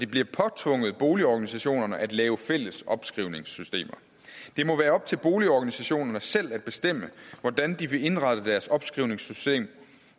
bliver påtvunget boligorganisationerne at lave fælles opskrivningssystemer det må være op til boligorganisationerne selv at bestemme hvordan de vil indrette deres opskrivningssystem